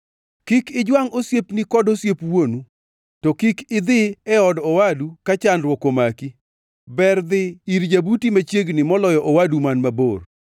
Kik ijwangʼ osiepni kod osiep wuonu, to kik idhi e od owadu ka chandruok omaki, ber dhi ir jabuti machiegni moloyo owadu man mabor.